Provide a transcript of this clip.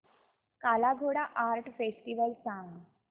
काला Ghoda art festival सांग